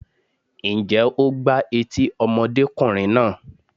Ǹjẹ́ o gbá etí ọmọdékùnrin náà?